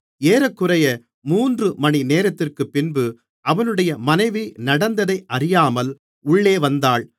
ஏறக்குறைய மூன்று மணி நேரத்திற்குப்பின்பு அவனுடைய மனைவி நடந்ததை அறியாமல் உள்ளே வந்தாள்